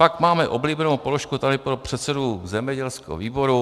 Pak máme oblíbenou položku tady pro předsedu zemědělského výboru.